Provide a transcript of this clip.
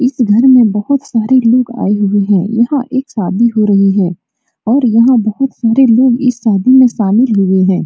इस घर में बहुत सारे लोग आये हुए हैं | यहाँ एक शादी हो रही है और यहाँ बहुत सारे लोग इस शादी में शामिल हुए हैं।